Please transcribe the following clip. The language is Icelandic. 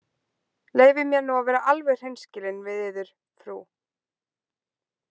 Leyfið mér að vera alveg hreinskilinn við yður, frú.